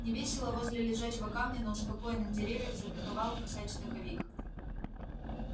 невесело возле лежачего камня на успокоенных деревьях затоковал косач-токовик